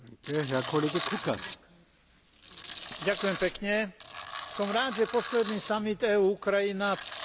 Som rád, že posledný samit EÚ Ukrajina oficiálne potvrdil vôľu oboch strán prehlbovať vzájomné vzťahy.